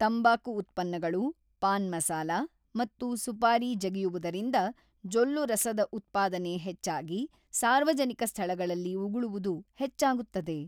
ತಂಬಾಕು ಉತ್ಪನ್ನಗಳು, ಪಾನ್ ಮಸಾಲ ಮತ್ತು ಸುಪಾರಿ ಜಗಿಯುವುದರಿಂದ ಜೊಲ್ಲುರಸದ ಉತ್ಪಾದನೆ ಹೆಚ್ಚಾಗಿ ಸಾರ್ವಜನಿಕ ಸ್ಥಳಗಳಲ್ಲಿ ಉಗುಳುವುದು ಹೆಚ್ಚಾಗುತ್ತದೆ.